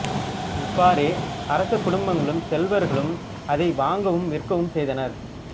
இவ்வாறே அரச குடும்பங்களும் செல்வர்களும் அதை வாங்கவும் விற்கவும் செய்தனர்